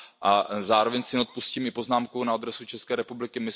A zároveň si neodpustím i poznámku na adresu České republiky.